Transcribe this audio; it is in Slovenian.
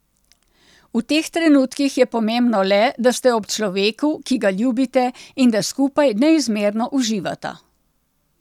V teh trenutkih je pomembno le, da ste ob človeku, ki ga ljubite, in da skupaj neizmerno uživata.